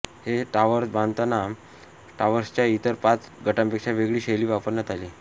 हे टाॅवर्स बांधताना टाॅवर्सच्या इतर पाच गटांपेक्षा वेगळी शैली वापरण्यात आली